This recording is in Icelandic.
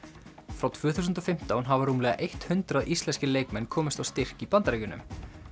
frá tvö þúsund og fimmtán hafa rúmlega eitt hundrað íslenskir leikmenn komist á styrk í Bandaríkjunum